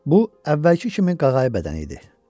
Bu əvvəlki kimi qağayı bədəni idi.